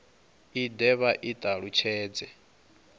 i de vha i talutshedze